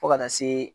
Fo ka taa se